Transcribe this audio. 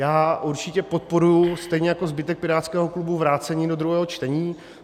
Já určitě podporuji, stejně jako zbytek pirátského klubu, vrácení do druhého čtení.